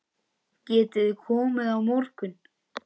Getiði komið á morgun?